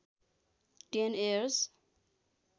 ten years